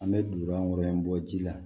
An bɛ dugawu kɛ bɔ ji la